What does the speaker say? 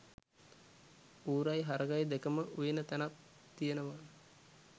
ඌරයි හරකයි දෙකම උයන තැනක් තියෙනවා